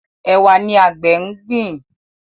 Ẹwà ní àgbè ngbin.